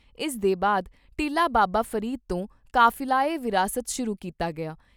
ਇਸ ਦੇ ਬਾਅਦ ਟਿੱਲਾ ਬਾਬਾ ਫਰੀਦ ਤੋਂ ਕਾਫਿਲਾ ਏ ਵਿਰਾਸਤ ਸ਼ੁਰੂ ਕੀਤਾ ਗਿਆ।